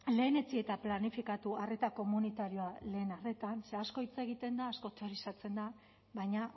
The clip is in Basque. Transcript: lehenetsi eta planifikatu arreta komunitarioa lehen arretan ze asko hitz egiten da asko teorizatzen da baina